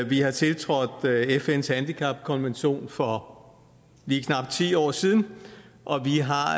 vi har tiltrådt fns handicapkonvention for lige knap ti år siden og vi har